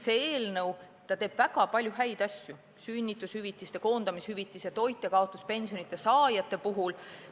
See eelnõu teeb väga palju häid asju sünnitushüvitise, koondamishüvitise ja toitjakaotuspensioni saajate heaks.